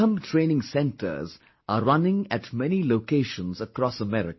Mallakhambh training centers are running at many locations across America